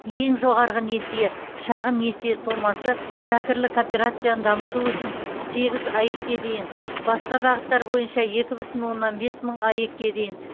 ең жоғарғы несие шағын несие сомасы зәкірлі кооперацияны дамыту үшін сегіз аек ке дейін басқа бағыттар бойынша екі бүтін оннан бес мың аек ке дейін